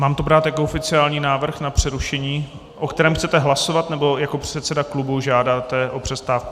Mám to brát jako oficiální návrh na přerušení, o kterém chcete hlasovat, nebo jako předseda klubu žádáte o přestávku?